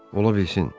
Ola bilsin.